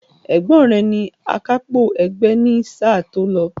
Ẹ̀gbọ́n rẹ ni AKÁPÒ ẹgbẹ́ ní sáà tí ó lọ